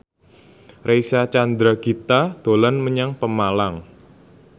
Reysa Chandragitta dolan menyang Pemalang